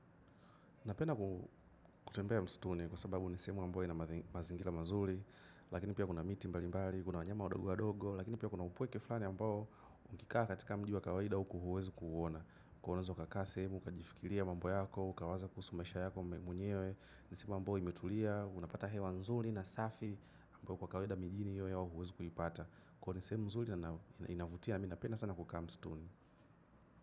Napenda kutembea msituni kwa sababu ni sehemu ambayo ina mazingira mazuri, lakini pia kuna miti mbalimbali, kuna wanyama wadogo wadogo, lakini pia kuna upweke fulani ambao ukikaa katika mji wa kawaida huwezi kuuona. Kuwa unaweza kukaa sehemu, kujifikiria mambo yako, kuwaza maisha yako mwenyewe, ni sehemu ambayo imetulia, unapata hewa nzuri na safi ambayo kwa kawaida mijini huwezi kuipata. Kono nisemu mzuli inavutia minapena sana kukaa mstuni.